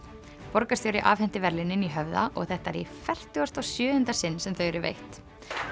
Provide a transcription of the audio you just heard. borgarstjóri afhenti verðlaunin í Höfða og þetta er í fertugasta og sjöunda sinn sem þau eru veitt